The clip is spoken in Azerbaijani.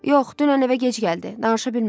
Yox, dünən evə gec gəldi, danışa bilmədik.